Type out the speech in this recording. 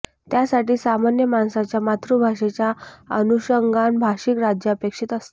त्यासाठी सामान्य माणसाच्या मातृभाषेच्या अनुषंगानं भाषिक राज्य अपेक्षित असतं